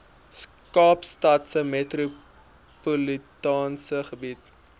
kaapstadse metropolitaanse gebied